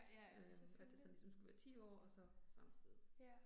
Øh at det sådan ligesom skulle være 10 år og så samme sted